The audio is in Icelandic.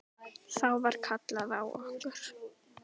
Þá var kallað á okkur.